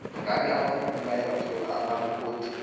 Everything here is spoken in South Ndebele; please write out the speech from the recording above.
ngabe abafundi bayawathola amaripoti